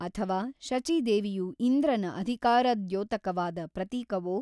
ಅಥವಾ ಶಚೀದೇವಿಯು ಇಂದ್ರನ ಅಧಿಕಾರದ್ಯೋತಕವಾದ ಪ್ರತೀಕವೋ?